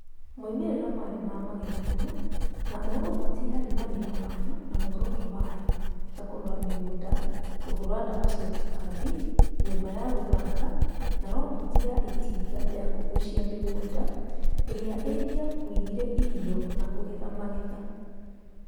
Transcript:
Moimĩrĩra maarĩ ma magegania, na o roboti yarĩ na wĩra wayo na muoroto wayo, ta kũrora mĩgũnda, kũhũũra ndawa cia tũtambi, nyũmba ya gũthaka, na roboti ya itinga ya kũgucia mĩgũnda ĩrĩa ingĩakuire irio na kũgetha magetha